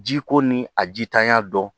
Jiko ni a jitanya don